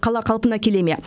қала қалпына келе ме